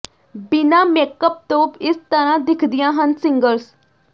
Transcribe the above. ਬਿਨ੍ਹਾਂ makeup ਤੋਂ ਇਸ ਤਰ੍ਹਾਂ ਦਿਖਦੀਆਂ ਹਨ ਸਿੰਗਰਜ਼